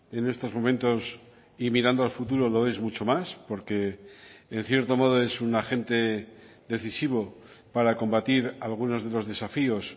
en estos momentos y mirando al futuro lo es mucho más porque en cierto modo es un agente decisivo para combatir algunos de los desafíos